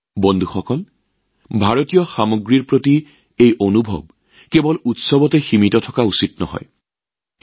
বন্ধুসকল ভাৰতীয় সামগ্ৰীৰ প্ৰতি এই আৱেগ কেৱল উৎসৱত সীমাবদ্ধ থাকিব নালাগে